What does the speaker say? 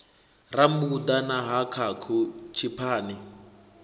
rambuḓa na ha khakhu tshiphani